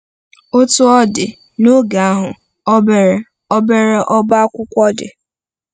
Otú ọ dị, n’oge ahụ, obere obere ọ́bá akwụkwọ dị.